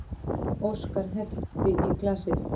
Óskar hellti í glasið.